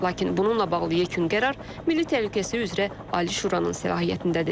Lakin bununla bağlı yekun qərar Milli Təhlükəsizlik üzrə Ali Şuranın səlahiyyətindədir.